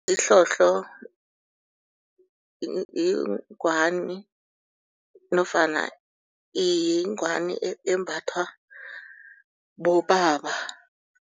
Isihlohlo yingwani nofana yingwani embathwa bobaba.